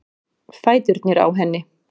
Fæturnir á henni.